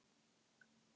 Lokun og tafir í göngum